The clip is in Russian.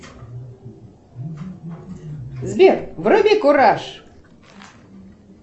сбер вруби кураж